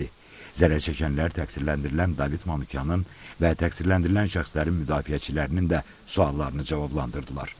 Zərərçəkənlər təqsirləndirilən David Manukyanın və təqsirləndirilən şəxslərin müdafiəçilərinin də suallarını cavablandırdılar.